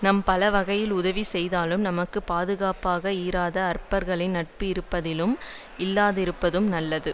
நம் பல வகையில் உதவி செய்தாலும் நமக்கு பாதுகாப்பாக இராத அற்பர்களின் நட்பு இருப்பதிலும் இல்லாதிருப்பதும் நல்லது